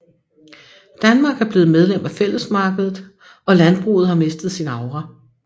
Danmark er blevet medlem af Fællesmarkedet og landbruget har mistet sin aura